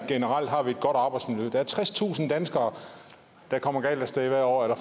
generelt har vi et godt arbejdsmiljø der er tredstusind danskere der kommer galt af sted hvert år eller